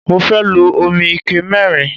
Mo fẹ́ lo omi ike mẹ́rin.